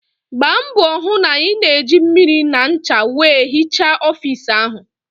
Gbaa mbọ hụ na ị na-eji mmiri na ncha wee hichaa ọfiisi ahụ!